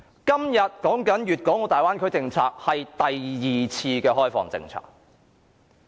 今天討論的大灣區政策，是第二次改革開放政策。